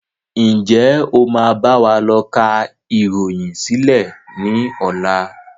Ǹjẹ́ o máa báwa lọ ká ìròyìn sílẹ̀ ni ọ̀la?